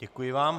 Děkuji vám.